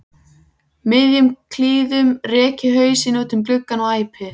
miðjum klíðum rek ég hausinn út um gluggann og æpi